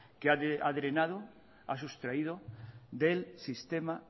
que ha drenado ha sustraído del sistema